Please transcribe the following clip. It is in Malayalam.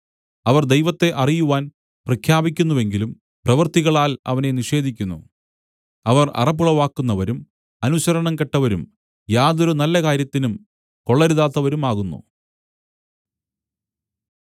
അവർ ദൈവത്തെ അറിയുവാൻ പ്രഖ്യാപിക്കുന്നുവെങ്കിലും പ്രവൃത്തികളാൽ അവനെ നിഷേധിക്കുന്നു അവർ അറപ്പുളവാക്കുന്നവരും അനുസരണംകെട്ടവരും യാതൊരു നല്ലകാര്യത്തിനും കൊള്ളരുതാത്തവരുമാകുന്നു